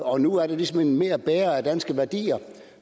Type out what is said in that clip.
og nu er det ligesom mere blevet en bærer af danske værdier